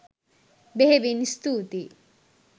බෙහෙවින් ස්තුතියි.